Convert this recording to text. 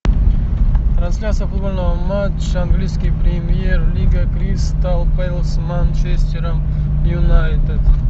трансляция футбольного матча английской премьер лиги кристал пэлас с манчестером юнайтед